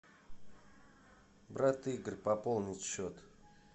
брат игорь пополнить счет